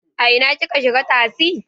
A ina kika shiga tasi?